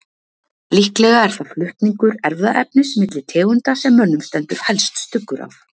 Líklega er það flutningur erfðaefnis milli tegunda sem mönnum stendur helst stuggur af.